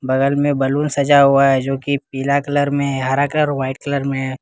बगल में बैलून सजा हुआ है जो कि पीला कलर में हरा कलर व्हाइट कलर में।